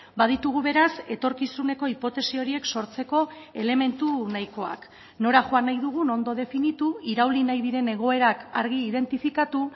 baditugu beraz etorkizuneko hipotesi horiek sortzeko elementu nahikoak nora joan nahi dugun ondo definitu irauli nahi diren egoerak argi identifikatu